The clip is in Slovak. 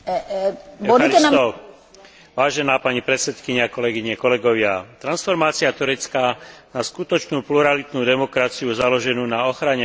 Transformácia Turecka na skutočnú pluralitnú demokraciu založenú na ochrane ľudských práv a základných slobôd sa javí ako pretrvávajúca výzva.